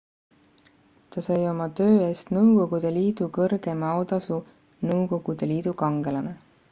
ta sai oma töö eest nõukogude liidu kõrgeima autasu nõukogude liidu kangelane